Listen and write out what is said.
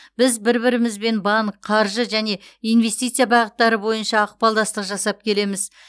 біз бір бірімізбен банк қаржы және инвестиция бағыттары бойынша ықпалдастық жасап келеміз